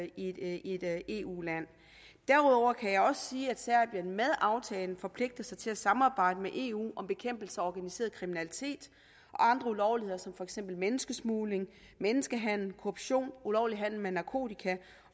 i et eu land derudover kan jeg også sige at serbien med aftalen forpligter sig til at samarbejde med eu om bekæmpelse af organiseret kriminalitet og andre ulovligheder som for eksempel menneskesmugling menneskehandel korruption ulovlig handel med narkotika